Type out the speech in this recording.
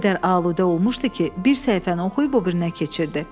O qədər aludə olmuşdu ki, bir səhifəni oxuyub o birinə keçirdi.